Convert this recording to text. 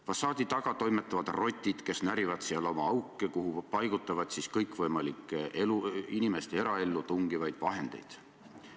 Fassaadi taga toimetavad rotid, kes närivad seal oma auke, kuhu paigutavad kõikvõimalikke inimeste eraellu tungivaid vahendeid.